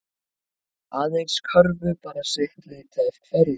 Aðeins körfu bara sitt lítið af hverju